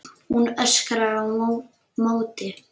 Hún öskrar á móti.